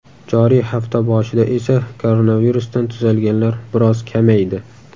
Joriy hafta boshida esa koronavirusdan tuzalganlar biroz kamaydi.